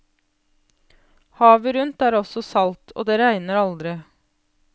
Havet rundt er også salt, og det regner aldri.